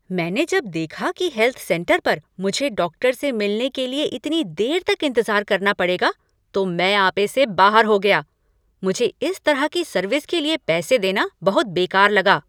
मैंने जब देखा कि हेल्थ सेंटर पर मुझे डॉक्टर से मिलने ले लिए इतनी देर तक इंतजार करना पड़ेगा तो मैं आपे से बाहर हो गया! मुझे इस तरह की सर्विस के लिए पैसे देना बहुत बेकार लगा।